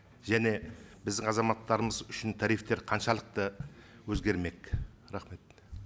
және біздің азаматтарымыз үшін тарифтер қаншалықты өзгермек рахмет